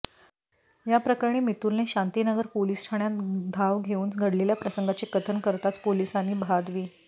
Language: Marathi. याप्रकरणी मितुलने शांतीनगर पोलीस ठाण्यात धाव घेऊन घडलेल्या प्रसंगाचे कथन करताच पोलिसांनी भादवी